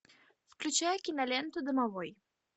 включай киноленту домовой